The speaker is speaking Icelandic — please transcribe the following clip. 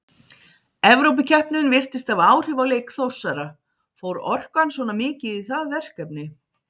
Evrópukeppnin virtist hafa áhrif á leik Þórsara, fór orkan svona mikið í það verkefni?